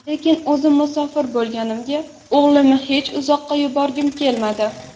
Lekin o‘zim musofir bo‘lganimga o‘g‘limni hech uzoqqa yuborgim kelmadi.